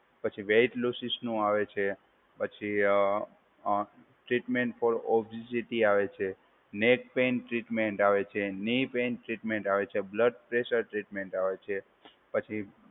પછી વેટ લોસીસનું આવે છે, પછી અ અ ટ્રીટમેન્ટ પૉ ઓબેસિટી આવે છે, નેટ પેઇન ટ્રીટમેન્ટ આવે છે, નિપ એન ટ્રીટમેન્ટ આવે છે, બ્લડપ્રેશર ટ્રીટમેન્ટ આવે છે, પછી